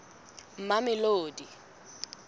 mamelodi